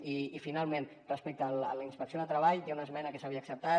i finalment respecte a la inspecció de treball hi ha una esmena que s’havia acceptat